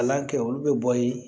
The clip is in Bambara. Kalan kɛ olu bɛ bɔ yen